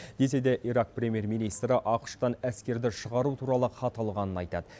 десе де ирак премьер министрі ақш тан әскерді шығару туралы хат алғанын айтады